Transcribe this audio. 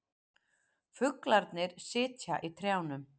Fuglarnir sitja í trjánum.